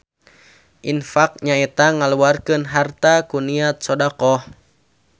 Infaq nyaeta ngaluarkeun harta ku niat sodaqoh